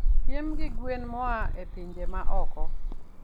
piem gi gwen moa e pinje maoko.